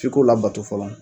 F'i k'o labato fɔlɔ.